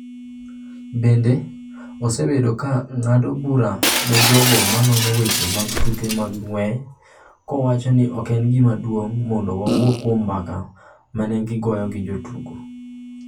Bende, osebedo ka ng’ado bura ne jogo ma nono weche mag tuke mag ng’wech kowacho ni ok en gima duong’ mondo wawuo kuom mbaka ma ne giwuoyogo gi jotugo.